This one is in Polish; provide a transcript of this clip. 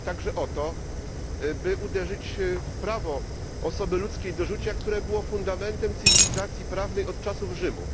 I chodzi także o to, by uderzyć w prawo osoby ludzkiej do życia, które było fundamentem cywilizacji prawnej od czasów Rzymu.